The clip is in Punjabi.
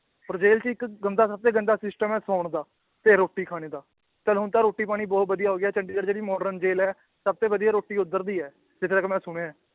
ਔਰ ਜੇਲ੍ਹ 'ਚ ਇੱਕ ਗੰਦਾ ਸਭ ਤੋਂ ਗੰਦਾ system ਹੈ ਸੌਣ ਦਾ ਤੇ ਰੋਟੀ ਖਾਣੇ ਦਾ, ਚੱਲ ਹੁਣ ਤਾਂ ਰੋਟੀ ਪਾਣੀ ਬਹੁਤ ਵਧੀਆ ਹੋ ਗਿਆ ਚੰਡੀਗੜ੍ਹ ਜਿਹੜੀ modern ਜੇਲ੍ਹ ਹੈ ਸਭ ਤੋਂ ਵਧੀਆ ਰੋਟੀ ਉੱਧਰ ਦੀ ਹੈ ਜਿੱਥੇ ਤੱਕ ਮੈਂ ਸੁਣਿਆ ਹੈ